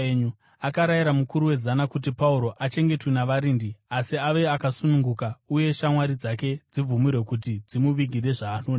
Akarayira mukuru wezana kuti Pauro achengetwe navarindi asi ave akasununguka uye shamwari dzake dzibvumirwe kuti dzimuvigire zvaanoda.